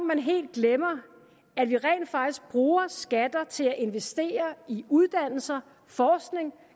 man helt glemmer at vi rent faktisk bruger skatter til at investere i uddannelse i forskning